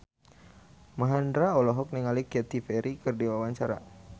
Mandra olohok ningali Katy Perry keur diwawancara